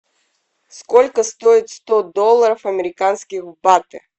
сколько стоит сто долларов американских в баты